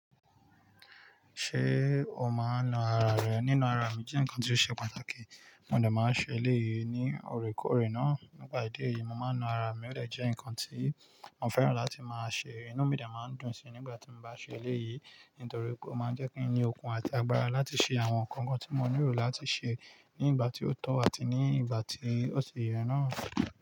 Ṣé o máa ń na ara rẹ? Nína ara mi jẹ́ nǹkan tí ó ṣe pàtàkì, mo dà máa ń ṣe léyìí ní orekoore náà. Nípa ìdí èyí, mo máa ń na ara mi ó de je ǹkan tí mo fẹ́ràn láti máa ṣe. Inú mi de máa ń dùn síi nígbà tí mo bá ṣe léyìí, nítorí o máa ń jẹ́ kí n ní okun àti agbára láti ṣe àwọn nǹkan kan tí mo níro láti ṣe ní ìgbà tí ó tọ́ àti ní ìgbà tí ó ṣi yẹ náà.